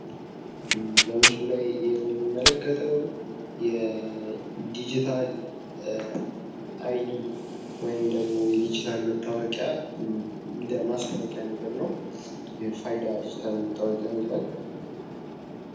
ይህ በምስሉ ላይ የምንመለከተው የድጂታል አይ ድ ወይም ደግሞ የዲጂታል መታወቂያ እንደ ማስታወቂያ ነገር ነው። የፋይዳ ዲጂታል መታወቂያ ይላል።